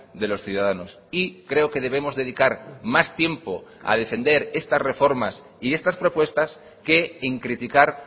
de los ciudadanos y creo que debemos dedicar más tiempo a defender estas reformas y estas propuestas que en criticar